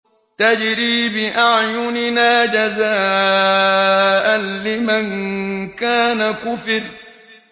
تَجْرِي بِأَعْيُنِنَا جَزَاءً لِّمَن كَانَ كُفِرَ